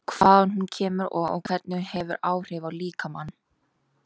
Hvaðan hún kemur og hvernig hún hefur áhrif á líkamann?